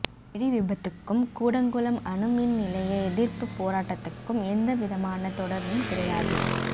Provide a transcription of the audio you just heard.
வெடி விபத்துக்கும் கூடங்குளம் அணுமின்நிலைய எதிர்ப்புப் போராட்டத்துக்கும் எந்த விதமானத் தொடர்பும் கிடையாது